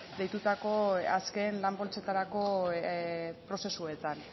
deitutako azken lan poltsetarako prozesuetan